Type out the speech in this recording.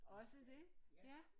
Også det? Ja